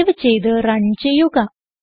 save ചെയ്ത് run ചെയ്യുക